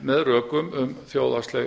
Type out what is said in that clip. með rökum um þjóðhagslegt